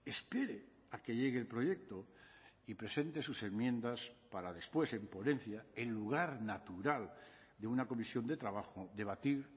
espere a que llegue el proyecto y presente sus enmiendas para después en ponencia el lugar natural de una comisión de trabajo debatir